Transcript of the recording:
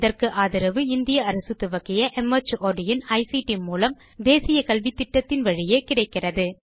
இதற்கு ஆதரவு இந்திய அரசு துவக்கிய மார்ட் இன் ஐசிடி மூலம் தேசிய கல்வித்திட்டத்தின் வழியே கிடைக்கிறது